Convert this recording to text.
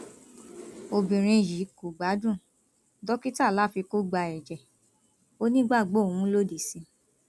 obìnrin yìí kò gbádùn dókítà láfi kó gba ẹjẹ ó nígbàgbọ òun lòdì sí i